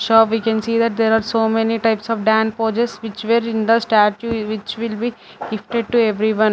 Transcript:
shop we can see that there are many types of dan poches which were in the statue which will be gifted to everyone.